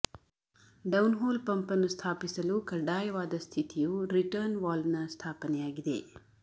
downhole pump ಅನ್ನು ಸ್ಥಾಪಿಸಲು ಕಡ್ಡಾಯವಾದ ಸ್ಥಿತಿಯು ರಿಟರ್ನ್ ವಾಲ್ವ್ನ ಸ್ಥಾಪನೆಯಾಗಿದೆ